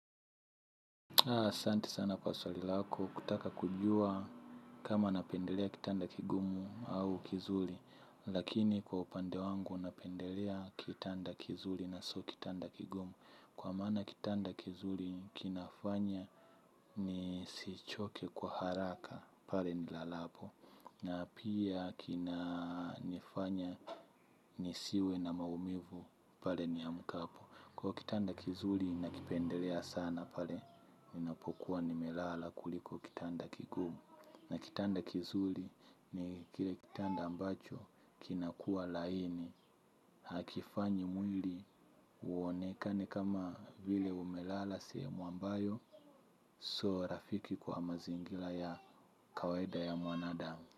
Aa, asanti sana kwa swali lako, kutaka kujua kama napendelea kitanda kigumu au kizuli. Lakini kwa upande wangu napendelea kitanda kizuli na sio kitanda kigumu. Kwa maana kitanda kizuli kinafanya nisichoke kwa haraka, pale nilalapo. Na pia kinanifanya nisiwe na maumivu, pale niamkapo. Kwa kitanda kizuli nakipendelea sana pale, inapokuwa nimelala kuliko kitanda kigumu. Na kitanda kizuli ni kile kitanda ambacho kinakua laini. Hakifanyi mwili uonekane kama vile umelala sehemu ambayo. Sio rafiki kwa mazingila ya kawaida ya mwanadamu.